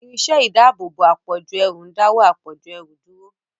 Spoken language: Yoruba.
Irinṣẹ́ ìdáàbòbò àpọ̀jù ẹrù ń dáwọ́ àpọ̀jù ẹrù dúró.